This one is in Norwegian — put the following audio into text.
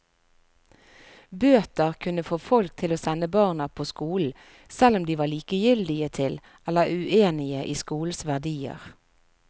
Bøter kunne få folk til å sende barna på skolen, selv om de var likegyldige til eller uenige i skolens verdier.